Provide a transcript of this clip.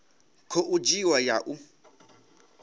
khou dzhiwa i ya u